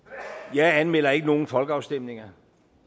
jeg anmelder ikke nogen folkeafstemninger